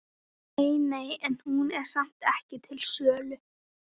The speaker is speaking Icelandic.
Nei, nei, en hún er samt ekki til sölu.